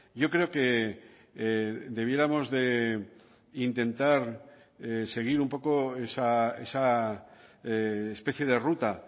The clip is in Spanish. yo creo que debiéramos de intentar seguir un poco esa especie de ruta